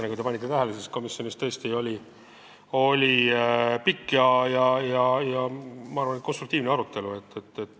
Nagu te tähele panite, oli komisjonis pikk ja minu arvates konstruktiivne arutelu.